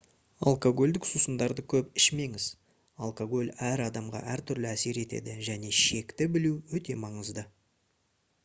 алкогольдік сусындарды көп ішмеңіз алкоголь әр адамға әртүрлі әсер етеді және шекті білу өте маңызды